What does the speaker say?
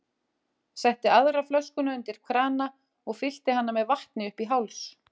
Setti aðra flöskuna undir krana og fyllti hana með vatni upp í háls.